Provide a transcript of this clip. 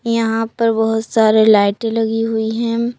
यहां पर बहुत सारे लाइटें लगी हुई है।